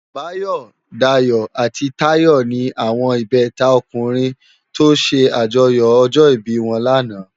Bayo, Dayo ati Tayo ni áwòn ibètá ókùrin tò sè ájòyò òjò ibi wòn làná